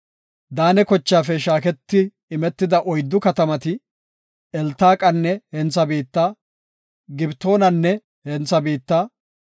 Daane kochaafe shaaketi imetida oyddu katamati, Eltaqanne hentha biitta, Gibetonanne hentha biitta,